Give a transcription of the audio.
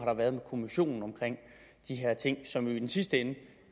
har været med kommissionen om de her ting som jo i den sidste ende